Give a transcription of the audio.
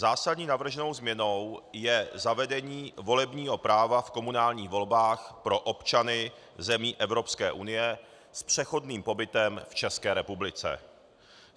Zásadní navrženou změnou je zavedení volebního práva v komunálních volbách pro občany zemí Evropské unie s přechodným pobytem v České republice.